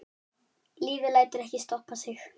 Lífið lætur ekkert stoppa sig.